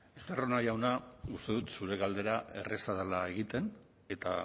estarrona jauna uste dut zure galdera erreza dela egiten eta